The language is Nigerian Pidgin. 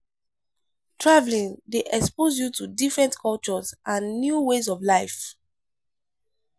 Traveling dey expose you to different cultures and new ways of life.